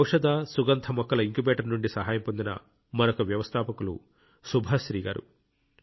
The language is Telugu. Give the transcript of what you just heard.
ఈ ఔషధ సుగంధ మొక్కల ఇంక్యుబేటర్ నుండి సహాయం పొందిన మరొక వ్యవస్థాపకులు సుభాశ్రీ గారు